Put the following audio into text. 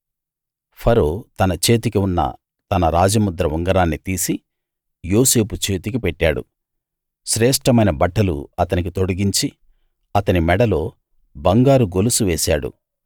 ఫరో తన చేతికి ఉన్న తన రాజముద్ర ఉంగరాన్ని తీసి యోసేపు చేతికి పెట్టాడు శ్రేష్ఠమైన బట్టలు అతనికి తొడిగించి అతని మెడలో బంగారు గొలుసు వేశాడు